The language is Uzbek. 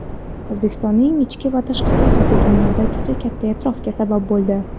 O‘zbekistonning ichki va tashqi siyosati dunyoda juda katta e’tirofga sabab bo‘ldi.